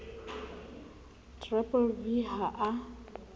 v v v ha a